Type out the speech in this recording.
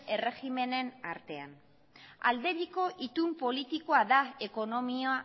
erregimenen artean aldebiko itun politikoa da ekonomia